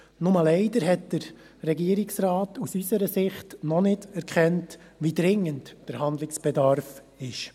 Nur leider hat der Regierungsrat aus unserer Sicht noch nicht erkannt, wie dringend der Handlungsbedarf ist.